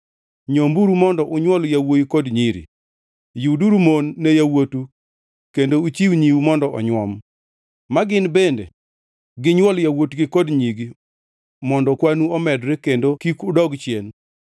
Nyomburu mondo onywol yawuowi kod nyiri; yuduru mon ne yawuotu kendo uchiw nyiu mondo onyuom, magin bende ginywol yawuotgi kod nyigi mondo kwanu omedre kendo kik udog chien.